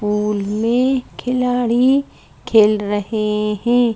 Pool में खिलाड़ी खेल रहे हैं।